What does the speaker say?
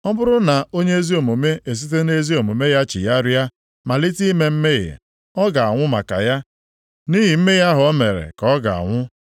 Ọ bụrụ na onye ezi omume esite nʼezi omume ya chigharịa malite ime mmehie, ọ ga-anwụ maka ya; nʼihi mmehie ahụ o mere ka ọ ga-anwụ.